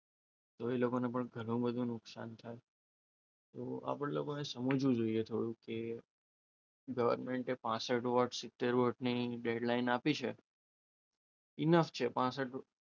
તો એ લોકોને પણ ઘણું બધું નુકસાન થાય તો આપણે લોકોને સમજવું જોઈએ થોડુંક કે ગવર્મેન્ટએ પાસઠ વર્ષ, સિત્તેર વર્ષ ની ડેડ લાઈન આપી છે. ઇનફ છે પાસઠ વર્ષ,